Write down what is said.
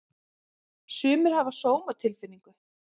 Sumir hafa sómatilfinningu.